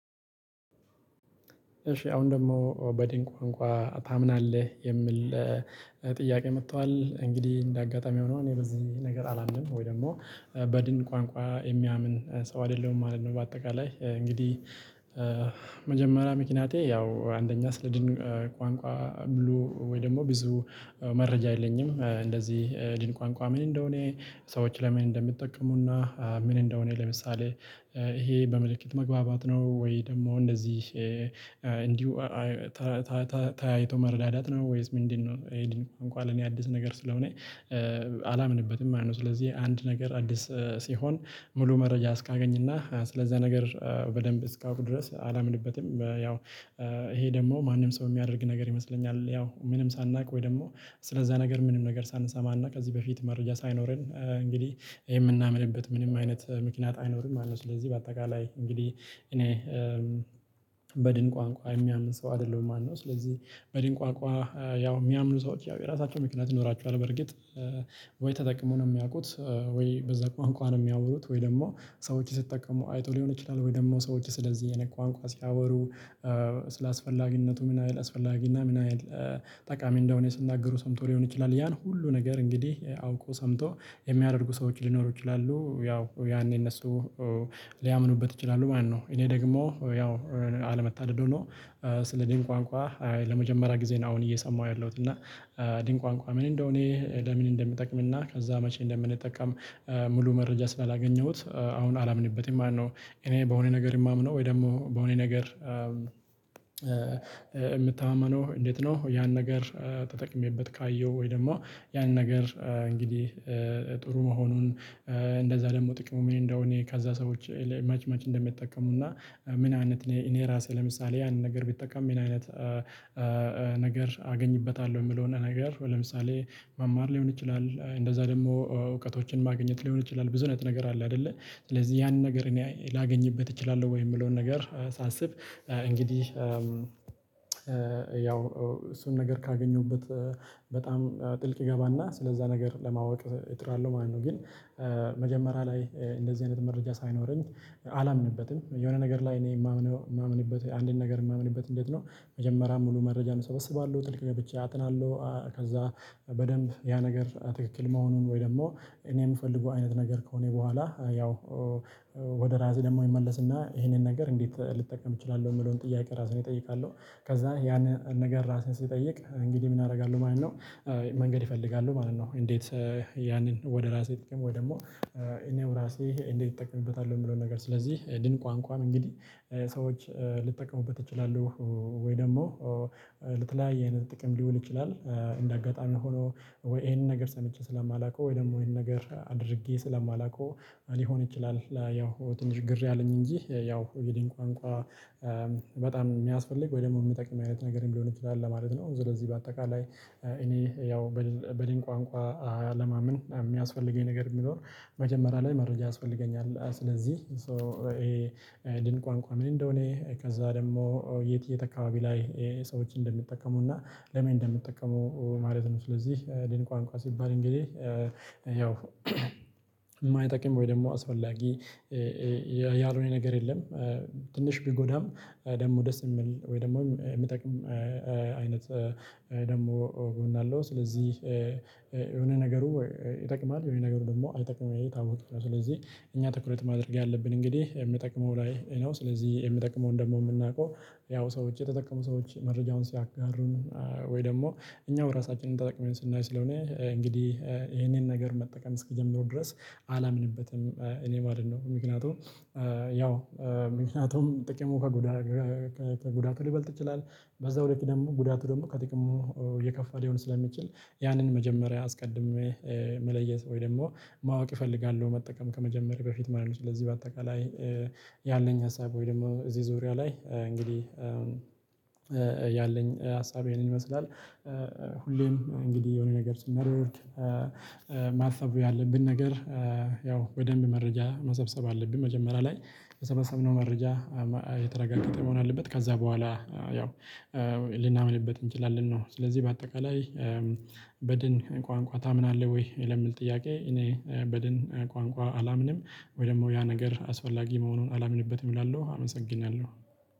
እሺ አሁን ደግሞ በድንቅ ቋንቋ ታምናለህ? የምል ጥያቄ መቷል እንግዲህ እንደ አጋጣሚ ሆኖ እኔ በዚህ ነገር አላምንም ወይ ደግሞ በድንቅ ቋንቋ የሚያምን ሰው አይደለሁም ማለት ነው። በአጠቃላይ እንግዲህ መጀመሪያ ምክንያቴ ያው አንደኛ ስለድንቅ ቋንቋ ሙሉ ወይ ደግሞ ብዙ መረጃ የለኝም። እንደዚህ ድንቅ ቋንቋ ምን እንደሆነ ሰዎች ለምን እንደሚጠቀሙና ምን እንደሆነ ለምሳሌ ይሄ በምልክት መግባባት ነው ወይ ደግሞ እንደዚህ እንዲሁ መረዳዳት ነው ወይስ ምንድነው? እንኳን ለኔ አዲስ ነገር ስለሆነ አላምንበትም ማለት ነው። ስለዚህ አንድ ነገር አዲስ ሲሆን ሙሉ መረጃ እስካገኝና ስለዛ ነገር በደንብ እስካውቅ ድረስ አላምንበትም። ያው ይሄ ደግሞ ማንም ሰው የሚያደርግ ነገር ይመስለኛል ያው ምንም ሳናውቅ ወይ ደግሞ ስለዛ ነገር ምንም ነገር ሳንሰማ እና ከዚህ በፊት መረጃ ሳይኖረን እንግዲህ የምናምንበት ምንም አይነት ምክንያት አይኖርም ማለት ነው። ስለዚህ በአጠቃላይ እንግዲህ እኔ በድንቅ ቋንቋ የሚያምን ሰው አይደለሁም ማለት ነው። ስለዚህ በድንቅ ቋንቋ ያው የሚያምኑ ሰዎች ያው የራሳቸው ምክንያት ይኖራችኋል በርግጥ ወይ ተጠቅሞ ነው የሚያውቁት ወይ በዛ ቋንቋ ነው የሚያውሩት ወይ ደግሞ ሰዎች ሲጠቀሙ አይቶ ሊሆን ይችላል። ወይ ደግሞ ሰዎች ስለዚህ አይነት ቋንቋ ሲያወሩ ስለ አፈላጊነቱ ምን ያህል አስፈላጊና ምን ያህል ጠቃሚ እንደሆነ ሲናገሩ ሰምቶ ሊሆን ይችላል። ያን ሁሉ ነገር እንግዲህ አውቆ ሰምቶ የሚያደርጉ ሰዎች ሊኖሩ ይችላሉ ያው ያኔ እነሱ ሊያምኑበት ይችላሉ ማለት ነው። እኔ ደግሞ ያው አለመታደል ሆኖ ስለዚህ ቋንቋ ለመጀመሪያ ጊዜ ነው አሁን እየሰማሁ ያለሁት እና ድንቅ ቋንቋ ምን እንደሆነ ለምን እንደምጠቅምና ከዛ መቼ እንደምንጠቀም ሙሉ መረጃ ስላላገኘሁት አሁን አላምንበትም ማለት ነው። እኔ በሆነ ነገር የማምነው ወይ ደግሞ በሆነ ነገር የምተማመነው እንዴት ነው? ያን ነገር ተጠቅሜበት ካየው ወይ ደግሞ ያን ነገር እንግዲህ ጥሩ መሆኑን እንደዛ ደግሞ ጥቅሙ ምን እንደሆነ እኔ ከዛ ሰዎች መች መች እንደሚጠቀሙና ምን አይነት እኔ እኔ ራሴ ለምሳሌ ያንን ነገር ብጠቀም ምን አይነት ነገር አገኝበታለሁ። የምለውን ነገር ለምሳሌ መማር ሊሆን ይችላል እንደዛ ደግሞ እውቀቶችን ማግኘት ሊሆን ይችላል ብዙ አይነት ነገር አለ። አይደለ ስለዚህ ያንን ነገር እኔ ላገኝበት እችላለሁ ወይ የምለውን ነገር ሳስብ እንግዲህ ያው እሱን ነገር ካገኘሁበት በጣም ጥልቅ እገባና ስለዛ ነገር ለማወቅ እጥራለው ማለት ነው። ግን መጀመሪያ ላይ እንደዚህ አይነት መረጃ ሳይኖረኝ አላምንበትም። የሆነ ነገር ላይ እኔ የማምነው የማምንበት አንድን ነገር የማምንበት እንዴት ነው? መጀመሪያ ሙሉ መረጃ እሰበስባለሁ ጥልቅ ገብቼ አጥናለሁ ከዛ በደንብ ያ ነገር ትክክል መሆኑን ወይ ደግሞ እኔ የምፈልገው አይነት ነገር ከሆነ በኋላ ያው ወደ ራሴ ደግሞ እመለስና ይሄንን ነገር እንዴት ልጠቀም እችላለሁ የምለውን ጥያቄ ራሴን እጠይቃለሁ። ከዛ ያን ነገር ራስህን ስጠይቅ እንግዲህ ምን አደርጋለሁ ማለት ነው። መንገድ እፈልጋለሁ ማለት ነው። እንዴት ያንን ወደ ራሴ ጥቅም ወይ ደግሞ እኔው ራሴ እንዴት እጠቀምበታለሁ። የሚለውን ነገር ስለዚህ ድንቅ ቋንቋን እንግዲህ ሰዎች ልጠቀሙበት እችላለሁ ወይ ደግሞ ለተለያየ አይነት ጥቅም ሊውል ይችላል። እንደ አጋጣሚ ሆኖ ወይ ይሄንን ነገር ሰምቼ ስለማላውቀው ወይ ደግሞ ይሄንን ነገር አድርጌ ስለማላውቀው ሊሆን ይችላል። ያው ትንሽ ግር ያለኝ እንጂ ያው የድንቅ ቋንቋ በጣም የሚያስፈልግ ወይ ደግሞ የሚጠቅም አይነት ነገርም ሊሆን ይችላል። ለማለት ነው ስለዚህ በአጠቃላይ እኔ ያው በድንቅ ቋንቋ አለማመን የሚያስፈልገኝ ነገር የሚኖር መጀመሪያ ላይ መረጃ ያስፈልገኛል። ስለዚህ ይሄ ድንቅ ቋንቋ ምን እንደሆነ ከዛ ደግሞ የት የት አከባቢ ላይ ሰዎችን እንደሚጠቀሙና ለምን እንደሚጠቀሙ ማለት ነው። ስለዚህ ድንቅ ቋንቋ ሲባል እንግዲህ ያው የማይጠቅም ወይ ደግሞ አስፈላጊ ያልሆነ ነገር የለም። ትንሽ ቢጎዳም ደግሞ ደስ የሚል ወይ ደግሞ የሚጠቅም አይነት ደግሞ ጎን አለው። ስለዚህ የሆነ ነገሩ ይጠቅማል የሆነ ነገሩ ደግሞ አይጠቅምም ይሄ የታወቀ ነው። ስለዚህ እኛ ትኩረት ማድረግ ያለብን እንግዲህ የሚጠቅመው ላይ ነው። ስለዚህ የሚጠቅመውን ደግሞ የምናውቀው ያው ሰዎች የተጠቀሙ ሰዎች መረጃውን ሲያጋሩን ወይ ደግሞ እኛው ራሳችንን ተጠቅመን ስናይ ስለሆነ እንግዲህ ይሄንን ነገር መጠቀም እስኪጀምሩ ድረስ አላምንበትም። እኔ ማለት ነው። ምክንያቱም ያው ምክንያቱም ጥቅሙ ከጉዳት ከጉዳቱ ሊበልጥ ይችላል። በዛው ልክ ደግሞ ጉዳቱ ደግሞ ከጥቅሙ የከፋ ሊሆን ስለሚችል ያንን መጀመሪያ አስቀድሜ መለየት ወይ ደግሞ ማወቅ እፈልጋለሁ መጠቀም ከመጀመሬ በፊት ማለት ነው። ስለዚህ በአጠቃላይ ያለኝ ሀሳብ ወይ ደግሞ እዚህ ዙሪያ ላይ እንግዲህ ያለኝ ሀሳብ ይሄንን ይመስላል። ሁሌም እንግዲህ የሆነ ነገር ስናደርግ ማሰብ ያለብን ነገር ያው በደንብ መረጃ መሰብሰብ አለብኝ መጀመሪያ ላይ የሰበሰብነው መረጃ የተረጋገጠ መሆን አለበት። ከዛ በኋላ ያው ልናምንበት እንችላለን ነው። ስለዚህ በአጠቃላይ በድን ቋንቋ ታምናለህ? ወይ የለምል ጥያቄ እኔ በድን ቋንቋ አላምንም። ወይ ደግሞ ያ ነገር አስፈላጊ መሆኑን አላምንበትም እላለሁ አመሰግናለሁ።